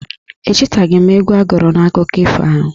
Echetaghị m egwu a gụrụ n' akụkọ ifo ahụ.